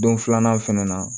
Don filanan fɛnɛ na